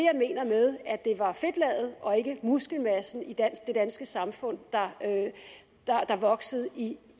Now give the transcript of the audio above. mener med at det var fedtlaget og ikke muskelmassen i det danske samfund der voksede i